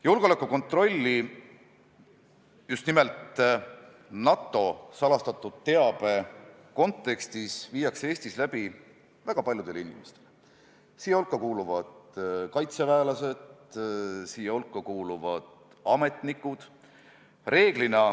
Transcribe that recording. Julgeolekukontrolli, just nimelt NATO salastatud teabe kontekstis, tehakse Eestis väga paljudele inimestele – siia hulka kuuluvad kaitseväelased, siia hulka kuuluvad ametnikud.